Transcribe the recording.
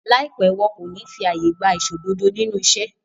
Láìpẹ́, wọn kò ní fí àyè gba aìṣòdodo nínú iṣẹ́